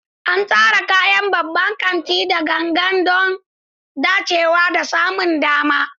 An tsara kayan babban kanti da gangan don dacewa da samun dama.